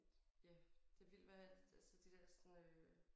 Ja det vildt hvad altså de der sådan øh